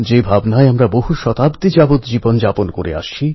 যখন focus question থেকে সরে কাটঅফএ চলে যায়